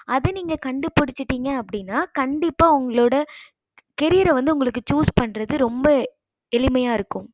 அத நீங்க கண்டு பிடிச்சிடிங்க அப்படினா கண்டிப்பா உங்களோட carrier வந்து உங்களோட choose பன்றது ரொம்ப எளிமைய இருக்கும்